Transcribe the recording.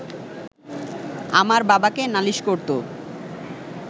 আমার বাবাকে নালিশ করতো